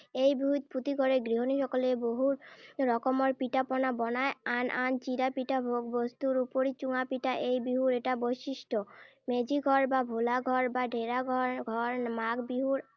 এই বিহুত প্ৰতি ঘৰে গৃহনীসকলে বহু ৰকমৰ পিঠা-পনা বনায়। আন আন চিৰা-পিঠা ভোগ্ বস্তুৰ উপৰি চুঙা পিঠা এই বিহুৰ এটা বৈশিষ্ট্য। মেজি ঘৰ বা ভোলা ঘৰ বা ঢেৰা ঘৰ, ঘৰ মাঘ বিহুৰ